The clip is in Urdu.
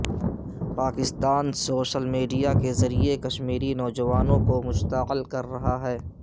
پاکستان سوشل میڈیا کے ذریعہ کشمیری نوجوانوں کو مشتعل کررہا ہے